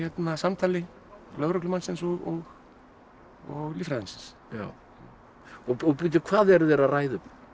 af samtali lögreglumannsins og líffræðingsins bíddu hvað eru þeir að ræða um